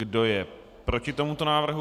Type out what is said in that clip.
Kdo je proti tomuto návrhu?